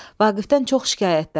Vaqifdən çox şikayətləndi.